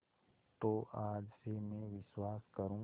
तो आज से मैं विश्वास करूँ